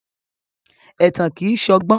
Ẹ̀tàn kìí ṣọgbọ́n.